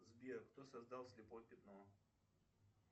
сбер кто создал слепое пятно